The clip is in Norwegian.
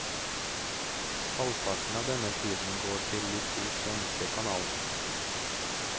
Halvparten av denne tiden går til de to svenske kanalene.